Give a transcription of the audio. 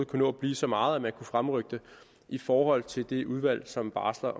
kan nå at blive så meget man kan fremrykke det i forhold til det udvalg som barsler